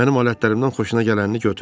Mənim alətlərimdən xoşuna gələni götür.